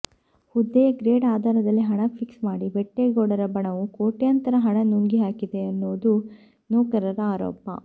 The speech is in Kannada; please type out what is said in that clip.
ಹುದ್ದೆಯ ಗ್ರೇಡ್ ಆಧಾರದಲ್ಲಿ ಹಣ ಫಿಕ್ಸ್ ಮಾಡಿ ಬೆಟ್ಟೇಗೌಡರ ಬಣವು ಕೋಟ್ಯಂತರ ಹಣ ನುಂಗಿಹಾಕಿದೆ ಎನ್ನೋದು ನೌಕರರ ಆರೋಪ